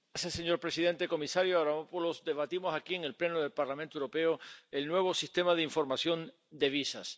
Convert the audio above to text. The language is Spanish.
Señor presidente, comisario Avramopoulos, debatimos aquí en el Pleno del Parlamento Europeo el nuevo Sistema de Información de Visados.